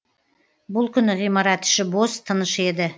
бұл күні ғимарат іші бос тыныш еді